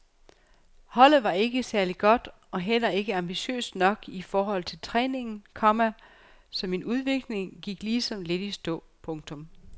Holdet var ikke særlig godt og heller ikke ambitiøst nok i forhold til træningen, komma så min udvikling gik ligesom lidt i stå. punktum